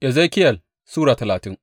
Ezekiyel Sura talatin